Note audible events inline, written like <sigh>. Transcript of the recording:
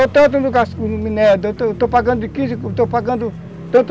<unintelligible> estou pagando <unintelligible>